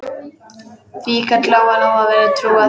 Því gat Lóa-Lóa vel trúað.